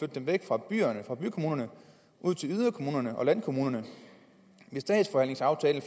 dem væk fra byerne og bykommunerne og ud til yderkommunerne og landkommunerne i statsforvaltningsaftalen